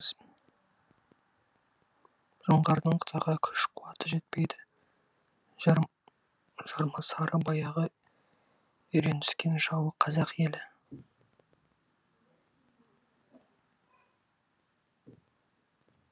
жоңғардың қытайға күш қуаты жетпейді жармасары баяғы үйреніскен жауы қазақ елі